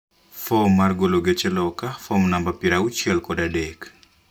Fom mar golo geche loka (fom namba piero auchiel kod adek)